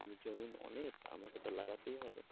এ জমিন অনেক আমাকে তো লাগাতেই হবে।